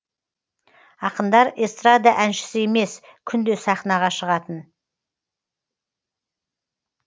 ақындар эстрада әншісі емес күнде сахнаға шығатын